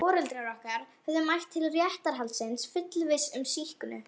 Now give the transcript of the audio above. Foreldrar okkar höfðu mætt til réttarhaldsins fullviss um sýknu.